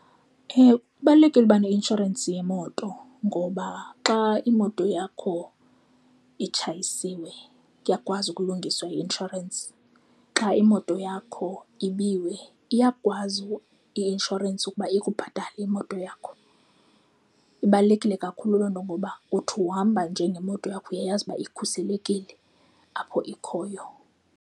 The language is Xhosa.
Ewe, kubalulekile ukuba neinshorensi yemoto ngoba xa imoto yakho itshayisiwe, kuyakwazi ukulungiswa yi-inshorensi xa imoto yakho ibiwe iyakwazi i-inshorensi ukuba ikubhatale imoto yakho. Ibalulekile kakhulu loo nto ngoba uthi uhamba njengemoto yakho uyayazi uba ikhuselekile apho ikhoyo.